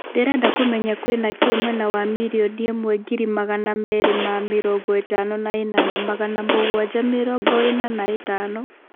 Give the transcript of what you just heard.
ndĩreda kũmenya kwĩna kĩ mwena wa mirioni ĩmwe ngiri magana merĩ ma mĩrongo ĩtano na ĩnana magana mũgwaja mĩrongo ĩina na ĩtano